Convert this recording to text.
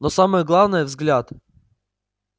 но самое главное взгляд